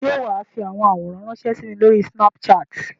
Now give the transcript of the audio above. Ṣé wà á fi àwọn àwòrán ránṣẹ́ sí mi lórí Snapchat?